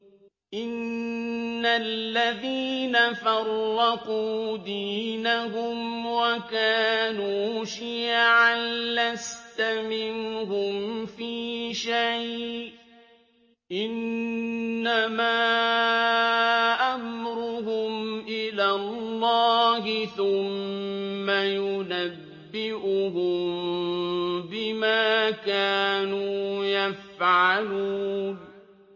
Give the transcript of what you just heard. إِنَّ الَّذِينَ فَرَّقُوا دِينَهُمْ وَكَانُوا شِيَعًا لَّسْتَ مِنْهُمْ فِي شَيْءٍ ۚ إِنَّمَا أَمْرُهُمْ إِلَى اللَّهِ ثُمَّ يُنَبِّئُهُم بِمَا كَانُوا يَفْعَلُونَ